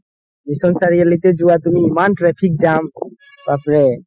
mission চাৰিআলিতে যোৱা তুমি ইমান traffic জাম বাপৰে